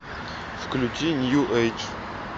включи нью эйдж